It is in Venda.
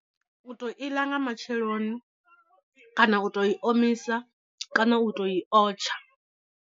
U to iḽa nga matsheloni, kana u to i omisa, kana u to i o tsha.